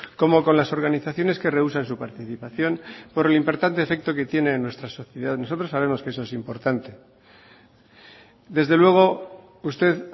como con las organizaciones que rehúsan su participación por el importante efecto que tiene en nuestra sociedad nosotros sabemos que eso es importante desde luego usted